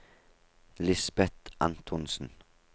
Lisbet Antonsen